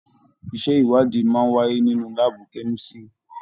Iṣẹ ìwádìí máa n wáyé nínú láàbù kemisiri.